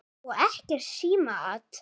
Og ekkert símaat.